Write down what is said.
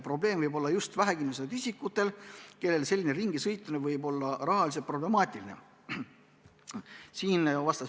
Probleem võib olla just vähekindlustatud isikutel, kellele selline ringisõitmine võib rahaliselt problemaatiline olla.